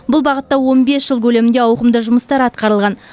бұл бағытта он бес жыл көлемінде ауқымды жұмыстар атқарылған